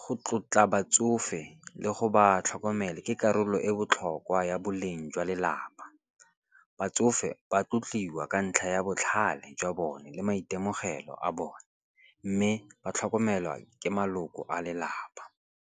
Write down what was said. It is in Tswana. go tlotla batsofe le go ba tlhokomela ke karolo e botlhokwa ya boleng jwa lelapa. Batsofe ba tlotliwa ka ntlha ya botlhale jwa bone le maitemogelo a bone. Mme ba tlhokomelwa ke maloko a lelapa.